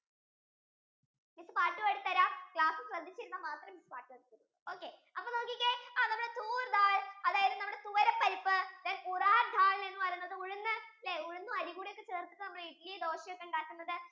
നിങ്ങൾക്കു പാട് പാടി തരാം class യിൽ സ്രെധിച്ചു ഇരുന്നാൽ മാത്രമേ miss പാട് പാടി താരത്തോളു okay നമ്മുടെ choor dal നമ്മുടെ തുവര പരിപ്പ്, ural dal എന്ന് പറയുന്നത് ഉഴുന്ന് അല്ലെ ഉഴുന്ന് അരിയൊക്കെ ചേർത്തിട്ടാണ് നമ്മൾ ഇഡലി, ദോശ ഒക്കെ ഉണ്ടാകുന്നത്